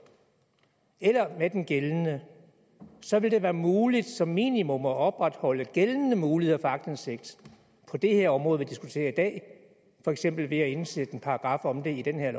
eller det er den gældende så vil det være muligt som minimum at opretholde gældende muligheder for aktindsigt på det her område som vi diskuterer i dag for eksempel ved at indsætte en paragraf om det i det her